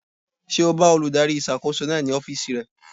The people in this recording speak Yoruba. Ṣé o bá olùdarí ìṣàkóso náà ní ọ́fìsì rẹ̀?